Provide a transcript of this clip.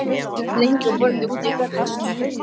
Ég sat lengi við borðið úti í garðinum.